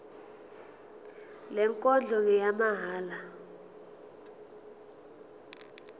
le nkonzo ngeyamahala